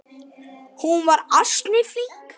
Hún var ansi flink.